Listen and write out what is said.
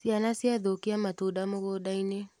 Ciana ciathũkia matunda mũgũndainĩ.